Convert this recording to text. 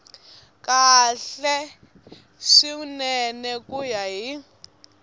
kahle swinene ku ya hi